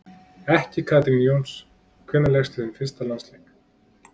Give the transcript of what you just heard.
Ekki Katrín Jóns Hvenær lékstu þinn fyrsta landsleik?